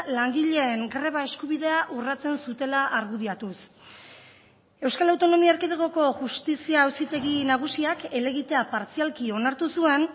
langileen greba eskubidea urratzen zutela argudiatuz euskal autonomia erkidegoko justizia auzitegi nagusiak helegitea partzialki onartu zuen